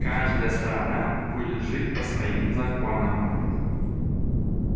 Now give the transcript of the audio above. каждая сторона будет жить по своим законам